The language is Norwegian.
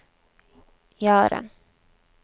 Jaren